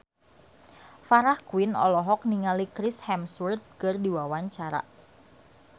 Farah Quinn olohok ningali Chris Hemsworth keur diwawancara